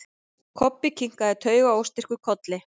Kobbi kinkaði taugaóstyrkur kolli.